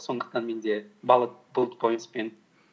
сондықтан менде буллет пойнтспен